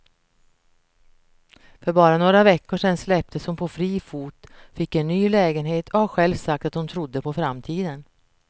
För bara några veckor sedan släpptes hon på fri fot, fick en ny lägenhet och har själv sagt att hon trodde på framtiden.